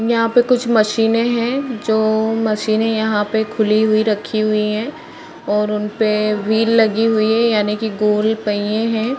यहाँ पे कुछ मशीने हैं जो मशीने यहाँ पे खुली हुई रखी हुई हैं और उन पे वील लगी हुई हैं यानि की गोल पहिएं हैं ।